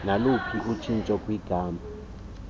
naluphina utshintsho kwigama